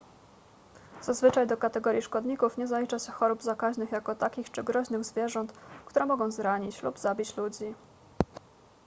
zazwyczaj do kategorii szkodników nie zalicza się chorób zakaźnych jako takich czy groźnych zwierząt które mogą zranić lub zabić ludzi